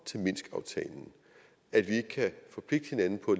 til minskaftalen at vi ikke kan forpligte hinanden på